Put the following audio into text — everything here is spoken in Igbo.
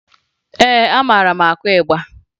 Ee, amara m akụ ịgba